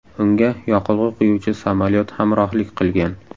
Unga yoqilg‘i quyuvchi samolyot hamrohlik qilgan.